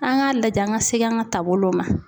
An k'a lajɛ, an ka segin an ka taabolow ma.